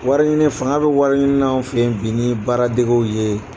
Wariɲini fanga bɛ wariɲininaw fɛ yen bi ni baaradegew ye.